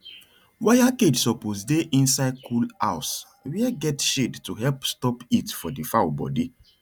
wire cage suppose dey inside cool house were get shade to help stop heat for the fowl body